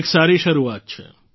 એક સારી શરૂઆત છે